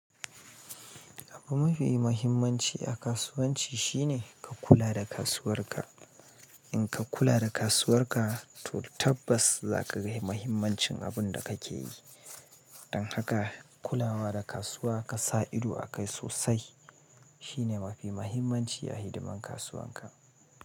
Abun mafi muhimmanci a kasuwanci shine ka kula da kasuwarka. In ka kula da kasuwarka, to tabbas za ka ga muhimmancin abin da kake yi. Don haka kulawa da kasuwa ka sa ido akai sosai shine mafi muhimmanci a hidiman kasuwan ka.